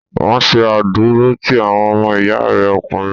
Ò ń ṣe àdúrótì àwọn ọmọ ìyá rẹ ọkùnrin.